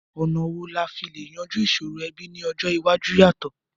Ọ̀nà wo la fi le yanjú ìsòrò ẹbí ni ọjọ́ iwájú yàtọ̀?